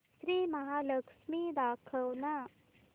श्री महालक्ष्मी दाखव ना